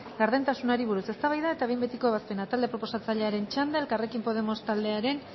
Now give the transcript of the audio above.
gardentasunari buruz eztabaida eta behin betiko ebazpena talde proposatzailearen txanda elkarrekin podemos taldearen